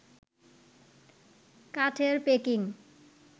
কাঠের প্যাকিং